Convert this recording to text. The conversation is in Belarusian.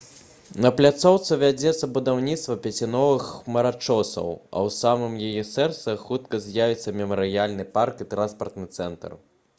на пляцоўцы вядзецца будаўніцтва пяці новых хмарачосаў а ў самым яе сэрцы хутка з'явіцца мемарыяльны парк і транспартны цэнтр